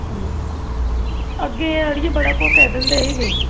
ਨਾ ਅੱਗੇ ਅੜੀਏ ਬੜਾ ਕੁਝ ਕਹਿ ਦਿੰਦੇ ਸੀ ਗਏ